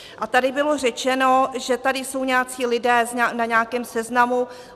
A tady bylo řečeno, že tady jsou nějací lidé na nějakém seznamu.